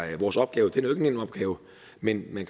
vores opgave det nogen nem opgave men men